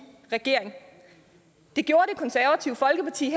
regering det gjorde det konservative folkeparti